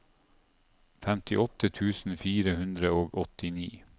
femtiåtte tusen fire hundre og åttini